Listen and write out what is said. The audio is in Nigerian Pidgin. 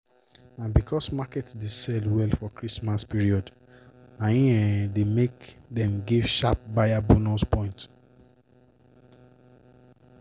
na because market dey sell well for christmas period na im um dey make dem give sharp buyers bonus points.